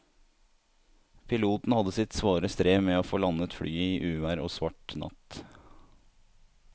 Piloten hadde sitt svare strev med å få landet flyet i uvær og svart natt.